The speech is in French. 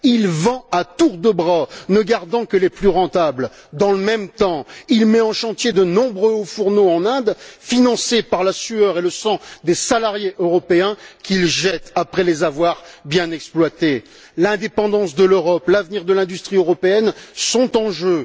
Il vend à tour de bras, ne gardant que les plus rentables. Dans le même temps, il met en chantier de nombreux hauts fourneaux en Inde, financés par la sueur et le sang des salariés européens qu'ils jettent après les avoir bien exploités. L'indépendance de l'Europe et l'avenir de l'industrie européenne sont en jeu.